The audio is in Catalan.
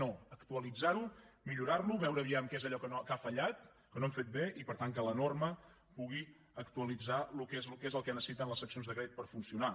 no actualitzar ho millorar lo veure vejam què és allò que ha fallat que no hem fet bé i per tant que la norma pugui actualitzar què és el que necessiten les seccions de crèdit per funcionar